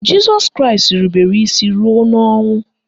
Jịsọs Kraịst irubere isi ruo n'ọnwụ